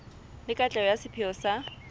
le katleho ya sepheo sa